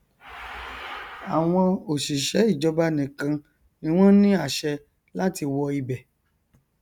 àwọn òṣìṣẹ ìjọba nìkan ni wọn ní àṣẹ láti wọ ibẹ